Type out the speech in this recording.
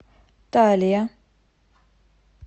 талия